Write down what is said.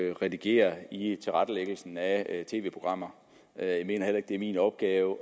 at redigere i tilrettelæggelsen af tv programmer jeg mener heller ikke det er min opgave